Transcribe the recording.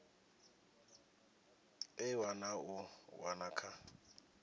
ewa na u wana kha